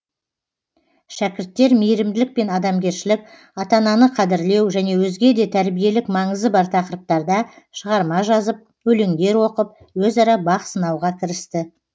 шәкірттер мейірімділік пен адамгершілік ата ананы қадірлеу және өзге де тәрбиелік маңызы бар тақырыптарда шығарма жазып өлеңдер оқып өзара бақ сынауға кірісті